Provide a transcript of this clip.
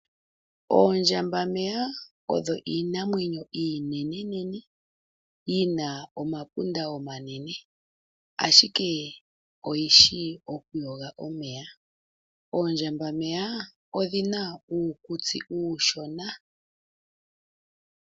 Oondjambameya odho iinamwenyo iinenenene yi na omapunda omanene ashike oyishi okuyoga omeya. Oondjambameya odhina uukutsi uushona.